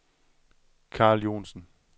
Carl Johnsen